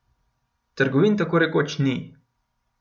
Trgovin tako rekoč ni.